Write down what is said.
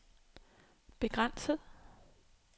begrænset